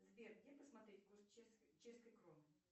сбер где посмотреть курс чешской кроны